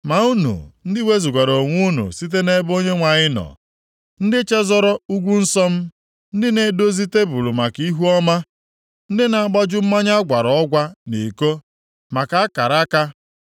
“Ma unu ndị wezugara onwe unu site nʼebe Onyenwe anyị nọ, ndị chezọrọ ugwu nsọ m, ndị na-edozi tebul maka Ihuọma, ndị na-agbaju mmanya agwara ọgwa nʼiko maka Akara aka. + 65:11 Ndị na e doro Gad tebul nʼusoro, na-agbaju mmanya agwara ọgwa nye Meni